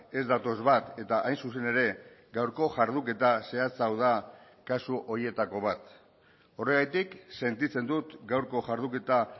ez datoz bat eta hain zuzen ere gaurko jarduketa zehatz hau da kasu horietako bat horregatik sentitzen dut gaurko jarduketa